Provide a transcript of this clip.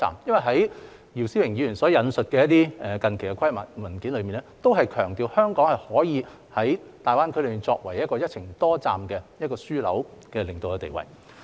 在姚思榮議員所引述的一些近期規劃文件中，也強調香港可以在大灣區作為一個"一程多站"樞紐的領導地位。